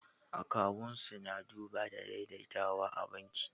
Akawu su na duba da daidaitawa a banki